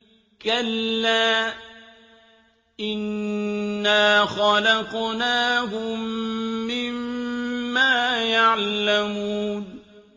كَلَّا ۖ إِنَّا خَلَقْنَاهُم مِّمَّا يَعْلَمُونَ